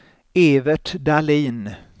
Evert Dahlin